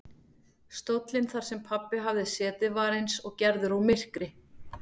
Stóllinn þar sem pabbi hafði setið var eins og gerður úr myrkri.